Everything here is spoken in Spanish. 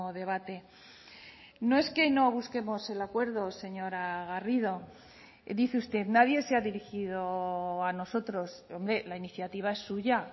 debate no es que no busquemos el acuerdo señora garrido dice usted nadie se ha dirigido a nosotros hombre la iniciativa es suya